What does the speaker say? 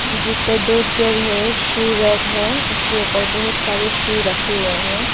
जिस पर दो चार है शू रैक है इसके ऊपर बहुत सारे शू रखे हुए हैं।